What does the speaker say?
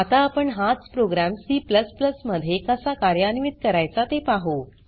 आता आपण हाच प्रोग्राम C मध्ये कसा कार्यान्वित करायचा ते पाहु